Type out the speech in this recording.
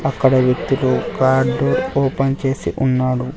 అక్కడ వ్యక్తులు card open చేసి ఉన్నాడు.